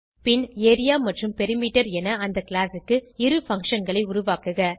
பின் area மற்றும் perimeter என அந்த கிளாஸ் க்கு இரு functionகளை உருவாக்குக